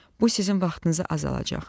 Bu sizin vaxtınızı azaldacaq.